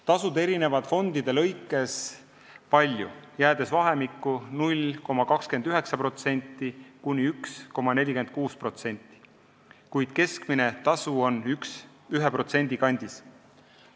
Tasud erinevad fondides palju, jäädes vahemikku 0,29%–1,46%, keskmine tasu on 1% kandis.